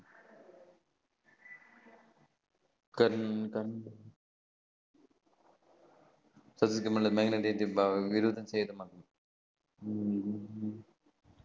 கர்ந்தக்